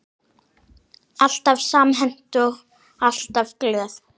Alltaf samhent og alltaf glöð.